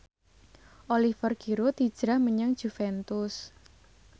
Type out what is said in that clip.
Oliver Giroud hijrah menyang Juventus